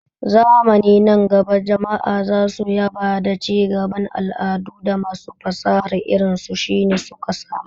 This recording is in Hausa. Zamani nan gaba jama'a za su yaba da cigaban al'adu da masu fasaha irin su Shina suka samar.